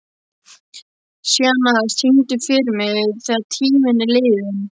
Sjana, syngdu fyrir mig „Þegar tíminn er liðinn“.